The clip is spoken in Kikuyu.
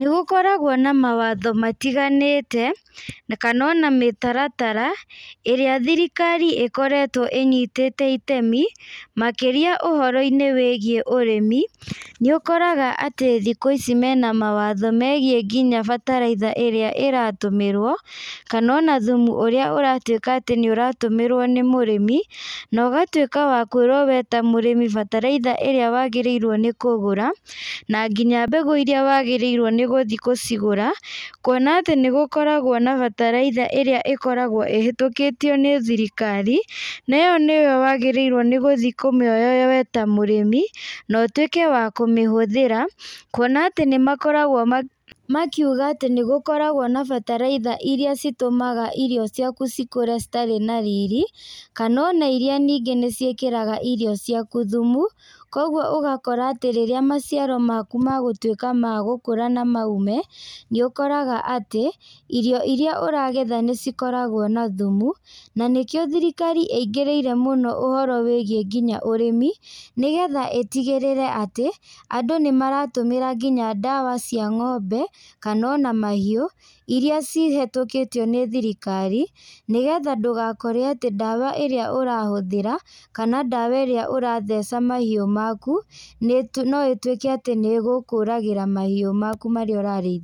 Nĩgũkoragwo na mawatho matiganĩte, kanona mĩtaratara, ĩrĩa thirikari ĩkoretwo ĩnyitĩte itemi, makĩria ũhoro-inĩ wĩgiĩ ũrĩmi, nĩũkoraga atĩ thikũ ici mena mawatho megiĩ nginya bataraitha ĩrĩa ĩratũmĩrwo, kanona thumu ũrĩa ũratwĩka atĩ nĩũratũmĩrwo nĩ mũrĩmi, nogatwĩka wa kwĩrwo we ta mũrĩmi bataraitha ĩrĩa wagĩrĩirwo nĩ kũgũra, na nginya mbegũ iria wagĩrĩirwo nĩgũthi kũcigũra, kuona atí nĩgũkoragwo na bataraitha ĩrĩa ĩkoragwo ĩhetũkĩtio nĩ thirikari, ĩyo nĩyo wagĩrĩirwo ní gũthi kũmĩoya we ta mũrĩmi, na ũtwĩke wa kũmíhũthĩra, kuona atĩ nĩmakoragwo ma, makiuga atĩ nĩgũkoragwo na bataraitha iria citũmaga irio ciaku cikũre citarĩ na riri, kanona iria ningĩ nĩciĩkĩraga irio ciaku thumu, koguo ũgakora atĩ rĩrĩa maciaro maku magũtwĩka ma gũkũra na ma ume, nĩũkoraga atĩ, irio iria ũragetha nĩcikoragwo na thumu, na nĩkĩo thirikari ĩingĩrĩire mũno ũhoro wĩgiĩ nginya ũrĩmi, nĩ getha ĩtigĩrĩre atĩ, andũ nĩmaratũmĩra nginya ndawa cia ng'ombe, kanona mahiũ, iria cihetũkĩtio nĩ thirikari, nĩgetha ndũgakorwo aĩí ndwa ĩrĩa ũrahũthĩra, kana ndawa ĩrĩa ũratheca mahiũ maku nĩti noĩtwĩke atĩ nĩgũkũragĩra mahiũ maku marĩa ũrarĩithia.